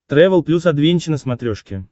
трэвел плюс адвенча на смотрешке